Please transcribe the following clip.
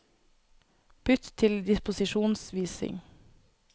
Bytt til disposisjonsvisning